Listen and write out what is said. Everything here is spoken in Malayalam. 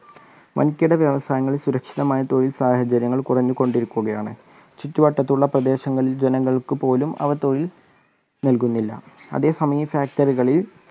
വൻകിട വ്യവസങ്ങളിൽ സുരക്ഷിതമായ തൊഴിൽ സാഹചര്യങ്ങൾ കുറഞ്ഞുകൊണ്ടിരിക്കുകയാണ് ചുറ്റുവട്ടത്തുള്ള പ്രദേശങ്ങളിലെ ജനങ്ങൾക്ക് പോലും അവ തൊഴിൽ നൽകുന്നില്ല. അതേ സമയം factory